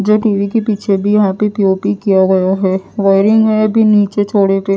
जो टी_वी के पीछे भी यहां पे पी_ओ_पी किया गया है वायरिंग है भी नीचे छड़े पे--